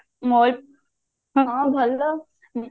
ମୋର ହଁ ଭଲ